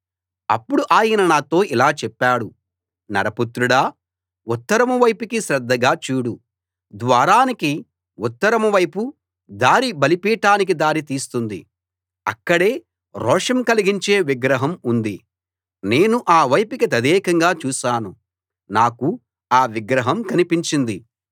అప్పుడు ఆయన నాతో ఇలా చెప్పాడు నరపుత్రుడా ఉత్తరం వైపుకి శ్రద్ధగా చూడు ద్వారానికి ఉత్తరం వైపు దారి బలిపీఠానికి దారి తీస్తుంది అక్కడే రోషం కలిగించే విగ్రహం ఉంది నేను ఆ వైపుకి తదేకంగా చూశాను నాకు ఆ విగ్రహం కనిపించింది